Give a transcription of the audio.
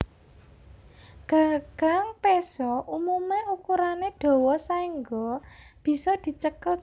Gagang péso umumé ukurané dawa saéngga bisa dicekel tangan